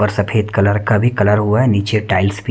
और सफेद कलर का भी कलर हुआ है नीचे टाइल्स भी --